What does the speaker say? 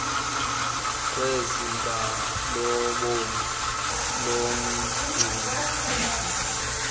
kwezinga lobom lomceli